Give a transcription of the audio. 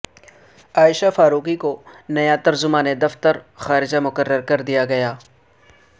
عائشہ فاروقی کو نیا ترجمان دفتر خارجہ مقرر کردیا گیا